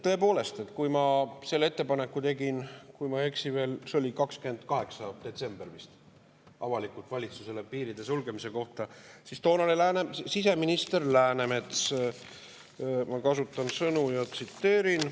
Tõepoolest, kui ma tegin avalikult selle ettepaneku – kui ma ei eksi, siis see oli vist 28. detsembril – valitsusele piiride sulgemise kohta, siis toonane siseminister Läänemets kasutas sõnu, tsiteerin.